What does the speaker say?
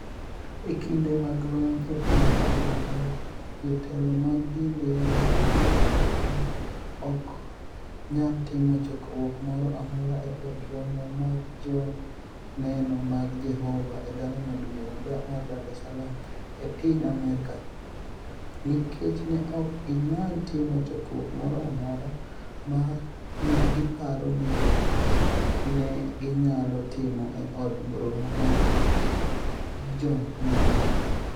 E kinide mag lweniy e piniy manigima, jotelo mag dinide mag miriambo ni e ok niyal timo chokruok moro amora e Od Romo mar Joni eno mag Jehova e dala maduonig ' mar Dar es Salaam, e piniy Amerka, niikech ni e ok giniyal timo chokruok moro amora ma ni e giparo nii ni e giniyalo timo e od romo mar joni eno.